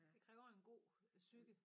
Det kræver en god psyke